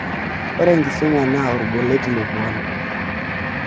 Ore enkisuma naa olbolet le puan.